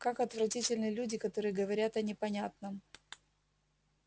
как отвратительны люди которые говорят о непонятном